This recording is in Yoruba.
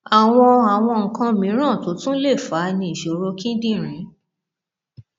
àwọn àwọn nǹkan mìíràn tó tún lè fà á ni ìṣòro kíndìnrín